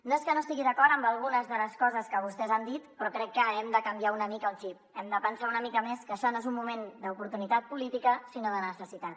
no és que no estigui d’acord amb algunes de les coses que vostès han dit però crec que hem de canviar una mica el xip hem de pensar una mica més que això no és un moment d’oportunitat política sinó de necessitat